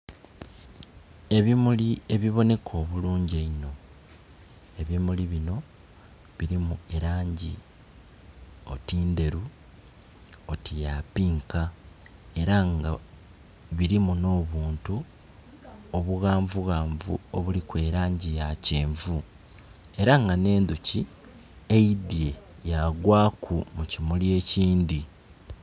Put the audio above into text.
Ebimuli ebiboneka obulungi einho, ebimuli binho bilimu elangi oti ndheru, oti ya pinka, era nga birimu n'obuntu, obughanvughanvu obuliku elangi ya kyenvu, era nga nh'endoki eidye ya gwaku mu kimuli ekindhi.